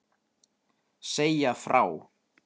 Segja frá.